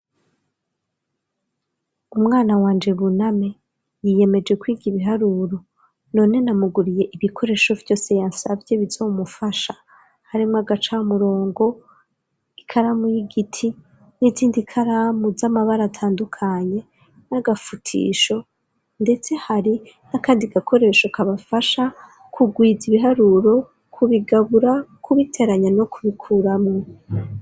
Umwana wanje buname yiyemeje kwiga ibiharuro none namuguriye ibikoresho vyose yasavye bizomufasha harimwo agacamurongo ikaramu y'igiti n'izindi ikaramu z'amabara atandukanye n'agafutisho ndetse hari n'akandi gakoresho kabafasha kugwiza ibiharuro kubigabura kubiteranya no kubikuramo.